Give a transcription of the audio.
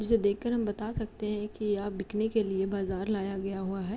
इसे देख के हम बात सकते है की ये बिकने के लिए बाजार लाया गया हुआ है।